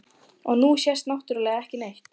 Og nú sést náttúrlega ekki neitt.